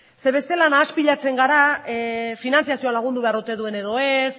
bestela nahaspilatzen gara finantziazio lagundu behar ote duen edo ez